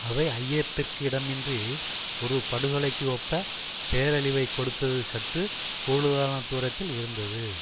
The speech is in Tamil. அவை ஐயத்திற்கு இடமின்றி ஒரு படுகொலைக்கு ஒப்ப பேரழிவை கொடுத்தது சற்று கூடுதலான தூரத்தில் இருந்தது